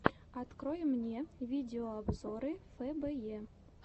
открой мне видеообзоры фэ бэ е